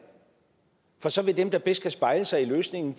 for så vil dem der bedst kan spejle sig i løsningen